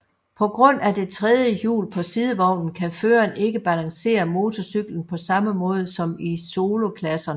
På grund af det tredje hjul på sidevognen kan føreren ikke balancere motorcyklen på samme måde som i soloklasserne